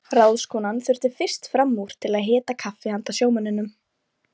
Ráðskonan þurfti fyrst fram úr til að hita kaffi handa sjómönnunum.